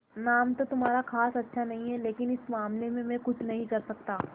नाम तो तुम्हारा खास अच्छा नहीं है लेकिन इस मामले में मैं कुछ नहीं कर सकता